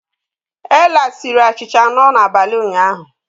Ella sie achịcha anọ n'abalị ụnyaahụ.